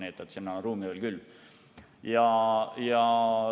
Nii et ruumi on veel küll.